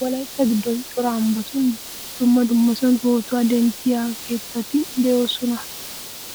Wolaytta giddon cora ambbatun dumma dummasan pootuwa denttiya keettati de'oosona.